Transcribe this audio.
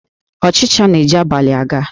Ọchịcha na-eji abalị a ga